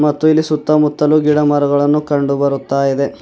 ಮತ್ತು ಇಲ್ಲಿ ಸುತ್ತ ಮುತ್ತಲು ಗಿಡ ಮರಗಳನ್ನು ಕಂಡು ಬರುತ್ತಾಇದೆ.